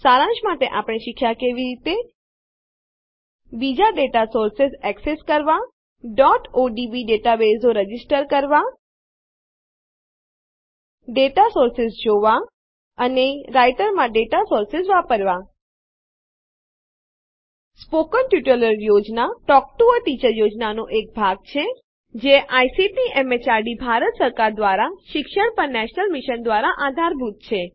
સારાંશમાં આપણે શીખ્યાં કે કેવી રીતે બીજા ડેટા સોર્સેઝ માહિતી સ્ત્રોતો એક્સેસ કરવાં odb ડેટાબેઝો રજીસ્ટર કરવાં નોંધવાં ડેટા સોર્સેઝ માહિતી સ્ત્રોતો જોવાં અને રાઈટરમાં ડેટા સોર્સેઝ માહિતી સ્ત્રોતો વાપરવાં મૌખિક ટ્યુટોરિયલ યોજના ટોક ટૂ અ ટીચર યોજનાનો એક ભાગ છે જે આઇસીટી એમએચઆરડી ભારત સરકાર દ્વારા શિક્ષણ પર નેશનલ મિશન દ્વારા આધારભૂત છે